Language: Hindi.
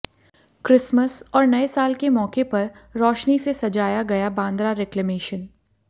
क्रिसमस और नए साल के मौके पर रोशनी से सजाया गया बांद्रा रिक्लेमेशन